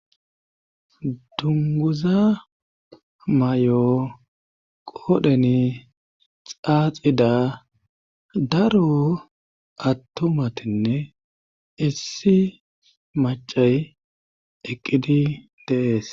dunguza may7o qodheni xaaxida daro attomatinne issi macay eqqidi deees